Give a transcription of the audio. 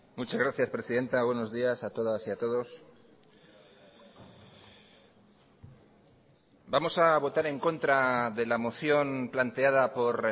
muchas gracias presidenta buenos días a todas y a todos vamos a votar en contra de la moción planteada por